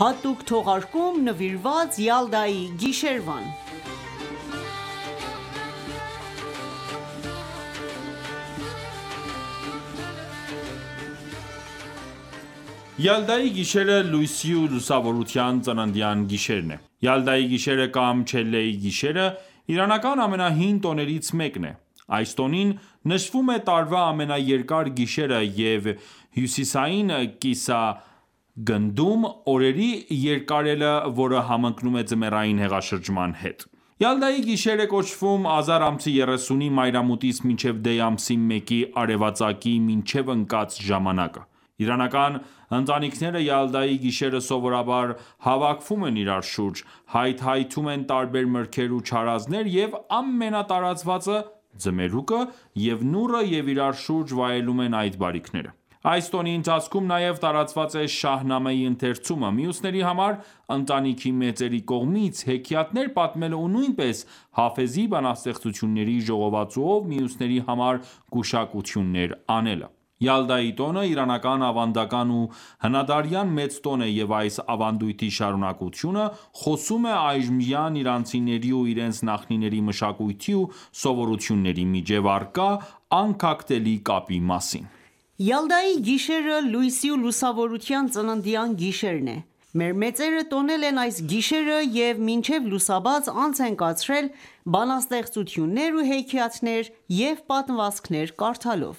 (Հատուկ թողարկում նվիրված Յալդայի գիշերվան) Յալդայի գիշերը, լույսի ու լուսավորության ծննդյան գիշերն է: Յալդայի գիշերը կամ Չելեի գիշերը իրանական ամենահին տոներից մեկն է: Այս տոնին, նշվում է տարվա ամենաերկար գիշերը և հյուսիսային կիսաագնդում օրերի երկարելը, որը համընկնում է ձմեռային հեղաշրջման հետ: Յալդայի գիշեր է կոչվում ազար ամսի 30-ի մայրամուտից մինչև դեյ ամսի մեկի արևածագի միջև ընկած ժամանակը: Իրանական ընտանքիները Յալդայի գիշերը սովորաբար հավաքվում են իրար շուրջ, հայթայթում են տարբեր մրգեր ու չարազներ և ամենատարածվածը՝ ձմերուկը և նուռը և իրար շուրջ վայելում են այդ բարիքները: Այս տոնի ընթացքում նաև տարածված է Շահնամեյի ընթերցումը, մյուսների համար ընտանիքի մեծերի կողմից հեքիաթներ պատմելը ու նույնպես Հաֆեզի բանաստեղծությունների ժողովածուով մյուսների համար գուշակություններ անելը: Յալդայի տոնը իրանական ավանդական ու հնադարյան մեծ տոն է և այս ավանդոյթի շարունակությունը խոսում է այժմյան իրանցիների ու իրենց նախնիների մշակույթի ու սովորությունների միջև առկա անքակտելի կապի մասին: Յալդայի գիշերը լույսի ու լուսավորության ծննդյան գիշերն է: Մեր մեծերը տոնել են այս գիշերը և մինչև լուսաբաց անց են կացրել բանաստեղծություններ ու հեքիաթներ ու պատմվածքներ կարդալով: